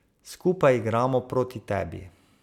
Skupaj igramo proti tebi.